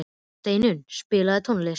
Steinunn, spilaðu tónlist.